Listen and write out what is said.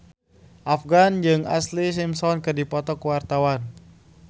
Afgan jeung Ashlee Simpson keur dipoto ku wartawan